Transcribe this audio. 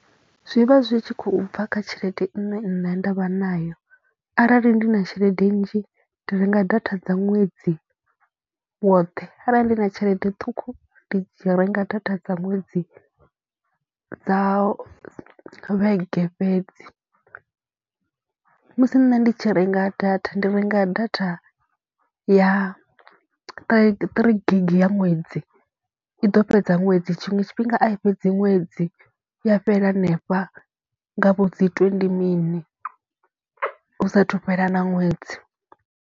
Zwi vha zwi tshi khou bva kha tshelede ine nṋe nda vha nayo arali ndi na tshelede nnzhi ndi renga data dza ṅwedzi woṱhe, arali ndi na tshelede ṱhukhu ndi renga data dza ṅwedzi, dza vhege fhedzi, musi nṋe ndi tshi renga data ndi renga data ya three gig ya ṅwedzi, i ḓo fhedza ṅwedzi tshiṅwe tshifhinga a i fhedzi ṅwedzi i ya fhelela hanefha nga vho dzi twendi mini, hu saathu fhela na ṅwedzi.